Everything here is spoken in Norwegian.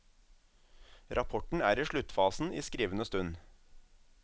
Rapporten er i sluttfasen i skrivende stund.